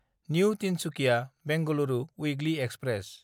new Tinsukia Bengaluru weekly express